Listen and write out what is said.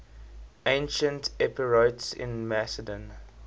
ancient epirotes in macedon